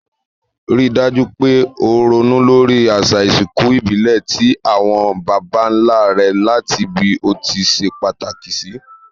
Rí dájú pe o ronú lórí àsà ìsinkù ìbílè ti àwon bàbánlá re làti bí o ti se pàtàkì sì